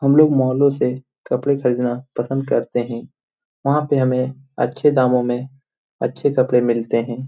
हम लोग मालों से कपड़े खरीदना पसंद करते है। वहाँ पे हमें अच्छे दामों में अच्छे कपड़े मिलते है।